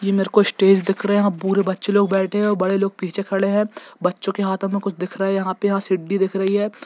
ये मेरे को स्टेज दिख रहे हैं पूरे बच्चे लोग बैठे हैं बड़े लोग पीछे खड़े हैं बच्चों के हाथों में कुछ दिख रहा है यहां पे यहां सीढ़ी दिख रही है।